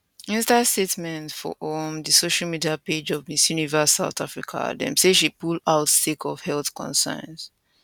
inside statement for um di social media page of miss universe south africa dem say she pull out sake of health concerns